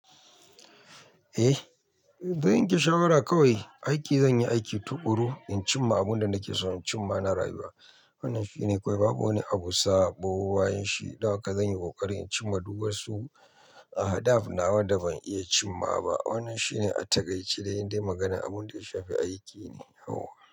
Eh, zan yanke shawara kawai, aiki zan yi aiki tuƙuru in cimma abun da nake so in cimma na rayuwa. Wannan shine kawai babu wani abu saɓo bayan shi da haka zan yi ƙoƙari in cimma du wasu ahadaf nawa da ban iya cimma ba. Wannan shine a takaice dai indai magana abun da ya shafi aiki ne. Yauwa.